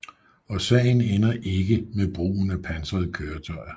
Og sagen ender ikke med brugen af pansrede køretøjer